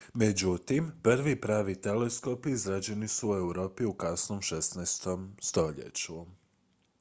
međutim prvi pravi teleskopi izrađeni su u europi u kasnom 16. stoljeću